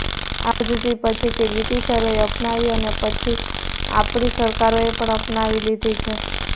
આ પદ્ધતિ પછીથી બ્રિટિશરોએ અપનાવી અને એ પછી આપણી સરકારોએ પણ અપનાવી લીધી છે